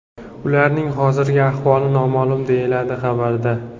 Ularning hozirgi ahvoli noma’lum”, deyiladi xabarda.